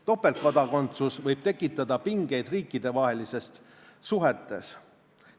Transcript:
Topeltkodakondsus võib tekitada pingeid riikidevahelistes suhetes.